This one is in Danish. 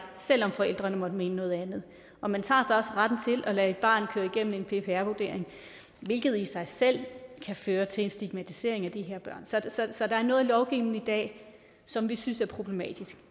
selv om forældrene måtte mene noget andet og man tager retten til at lade et barn køre igennem en ppr vurdering hvilket i sig selv kan føre til en stigmatisering af de her børn så der er noget lovgivning i dag som vi synes er problematisk